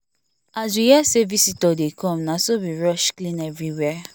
as we hear say visitor dey come na so we rush clean everywhere